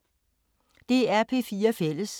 DR P4 Fælles